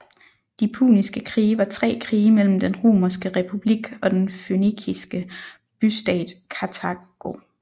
De puniske krige var tre krige mellem den Romerske republik og den fønikiske bystat Kartago